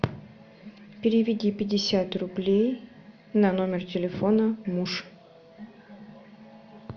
переведи пятьдесят рублей на номер телефона муж